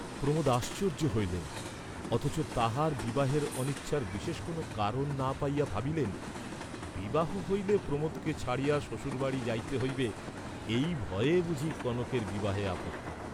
প্রমোদ আশ্চর্য্য হইলেন, অথচ তাহার বিবাহের অনিচ্ছার বিশেষ কোন কারণ না পাইয়া ভাবিলেন, বিবাহ হইলে প্রমোদকে ছাড়িয়া শ্বশুরবাড়ী যাইতে হইবে, এই ভয়ে বুঝি কনকের বিবাহে আপত্তি।